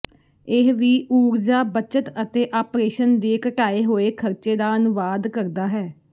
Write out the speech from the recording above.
ਇਹ ਵੀ ਊਰਜਾ ਬੱਚਤ ਅਤੇ ਆਪਰੇਸ਼ਨ ਦੇ ਘਟਾਏ ਹੋਏ ਖਰਚੇ ਦਾ ਅਨੁਵਾਦ ਕਰਦਾ ਹੈ